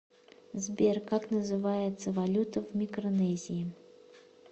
сбер как называется валюта в микронезии